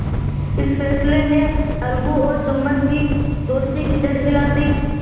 इस फैसले ने अलगू और जुम्मन की दोस्ती की जड़ हिला दी